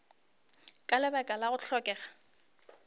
ka lebaka la go hlokega